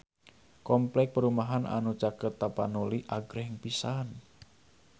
Kompleks perumahan anu caket Tapanuli agreng pisan